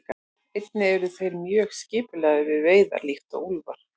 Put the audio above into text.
Einnig eru þeir mjög skipulagðir við veiðar líkt og úlfar.